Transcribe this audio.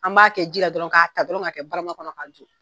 An m'a kɛ jila dɔrɔn, ka ta dɔrɔn ka kɛ bara kɔnɔ ka